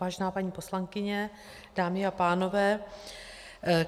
Vážená paní poslankyně, dámy a pánové.